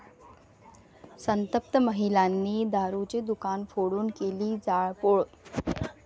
संतप्त महिलांनी दारूचे दुकान फोडून केली जाळपोळ